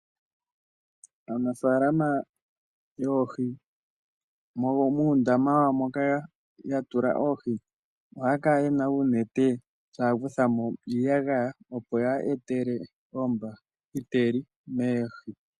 Aanafaalama yoohi muundama wawo moka ya tula oohi, ohaya kala ye na uunete taa kutha mo iiyagaya, opo kaayi etele oohi oombahiteli.